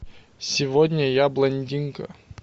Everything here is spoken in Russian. сегодня я блондинка